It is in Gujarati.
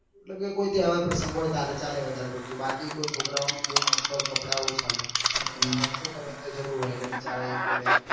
મતલબ કે કોઈ તહેવાર પ્રસંગ હોય ત્યારે જ ચાલે વધાર પડતું બાકી કોઈ છોકરા ઓ નું બઉ most of કપડા ઓછા લે ને છોકરીઓ ને તો જરૂર હોય એટલે બચારા એ તો લે જ ને